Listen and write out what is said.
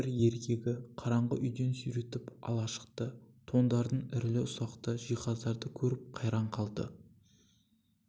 бір еркегі қараңғы үйден сүйретіп сыртқа ала шықты тондарды ірілі-ұсақты жиһаздарды көріп қайран қалды